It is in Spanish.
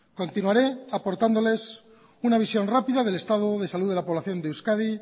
continuaré aportándoles una visión rápida del estado de salud de la población de euskadi